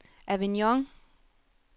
Avignon